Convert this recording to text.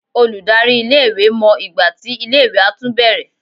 Olùdarí iléèwé mọ ìgbà tí iléèwé á tún bẹ̀rẹ̀